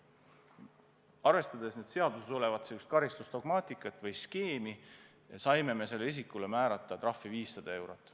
Arvestades seaduses olevat karistusdogmaatikat või -skeemi, me saime sellele isikule määrata trahvi 500 eurot.